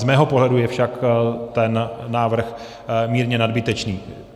Z mého pohledu je však ten návrh mírně nadbytečný.